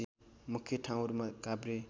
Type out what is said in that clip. मुख्य ठाउँहरू काभ्रे